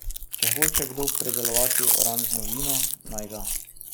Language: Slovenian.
Če hoče kdo pridelovati oranžno vino, naj ga.